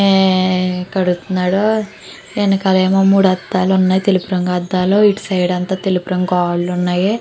కడుతున్నాడు వెనకాలేమో మూడు అద్దాలు ఉన్నాయి. తెలుపు రంగు అర్థాలు ఇటు సైడ్ ఏమో తెలుపు రంగు గోడలు ఉన్నాయి.